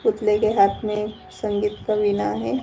पुतले के हाथ में संगीत का विना है।